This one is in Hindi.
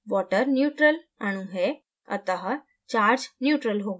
water neutral उदासीन अणु है अतः chargeneutral होगा